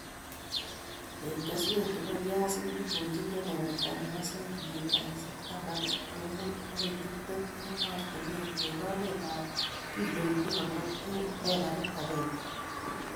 Eng' kesweek che po piasinik goljin kebeberta ne po sendimitaik taman ak muut agoi tiptem eng' ortinwek ,eng' loletap kiloinik konom eng' ekarit agenge.